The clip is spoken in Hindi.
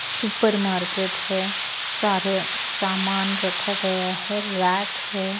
सुपर मार्किट है सारा सामान रखा गया है रैक है।